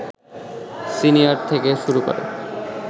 senior থেকে শুরু করে